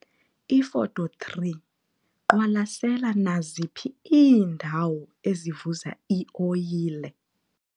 Ifoto 3- Qwalasela naziphi iindawo ezivuza ioyile.